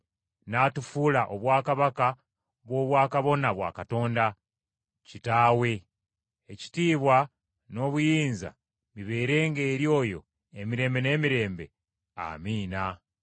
n’atufuula obwakabaka bw’obwakabona bwa Katonda, Kitaawe. Ekitiibwa n’obuyinza bibeerenga eri oyo emirembe n’emirembe. Amiina.